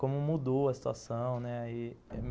como mudou a situação né